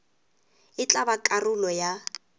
e tla ba karolo ya